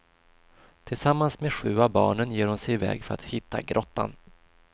Tillsammans med sju av barnen ger hon sig i väg för att hitta grottan.